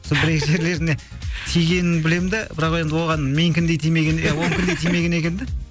сол бір екі жерлеріне тигенін білемін де бірақ енді оған менікіндей тимеген де оныкіндей тимеген екен де